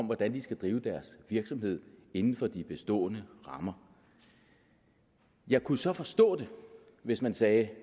hvordan de skal drive deres virksomhed inden for de bestående rammer jeg kunne så forstå det hvis man sagde